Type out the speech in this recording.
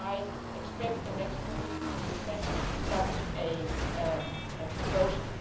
I expect the next Commission to present such a proposal.